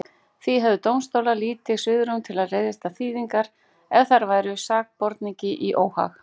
Því hefðu dómstólar lítið svigrúm til að leiðrétta þýðingar ef þær væru sakborningi í óhag.